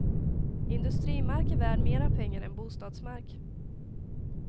Industrimark är värd mera pengar än bostadsmark.